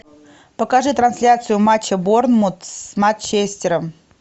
покажи трансляцию матча борнмут с манчестером